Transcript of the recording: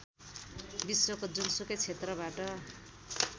विश्वको जुनसुकै क्षेत्रबाट